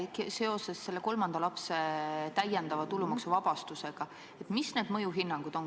Küsin seoses selle kolmanda lapse täiendava tulumaksuvabastusega, et mis need mõjuhinnangud on.